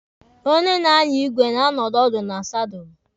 Onye na-anya igwe na-anọdị ọdụ na sadụlụ.